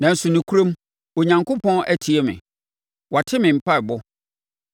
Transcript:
Nanso, nokorɛm, Onyankopɔn atie me, wate me mpaeɛbɔ.